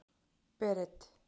Berit